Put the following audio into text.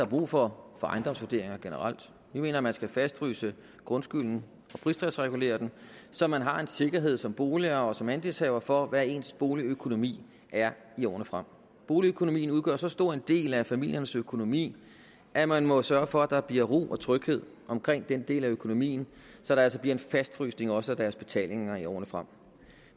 brug for ejendomsvurderinger generelt vi mener man skal fastfryse grundskylden og pristalsregulere den så man har en sikkerhed som boligejer og som andelshaver for hvad ens boligøkonomi er i årene frem boligøkonomien udgør så stor en del af familiernes økonomi at man må sørge for at der bliver ro og tryghed omkring den del af økonomien så der altså bliver en fastfrysning også af deres betalinger i årene frem